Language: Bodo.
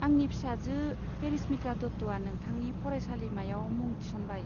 आंनि फिसाजो पेरिसमिता दत्तआ नोंथांनि फरायसालिमायाव मुं थिसनबाय।